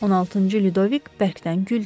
16-cı Ludovik bərkdən güldü.